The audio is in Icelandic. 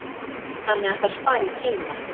Þannig að það spari tíma.